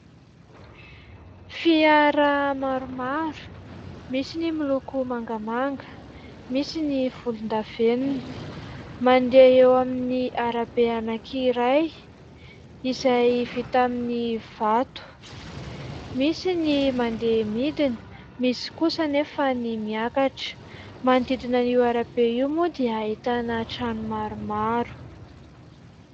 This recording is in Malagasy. Fiara maromaro, misy ny miloko mangamanga, misy ny volondavenona, mandeha eo amin'ny arabe anankiray izay vita amin'ny vato ; misy ny mandeha midina, misy kosa anefa ny miakatra. Manodidina an'io arabe io moa dia ahitana trano maromaro.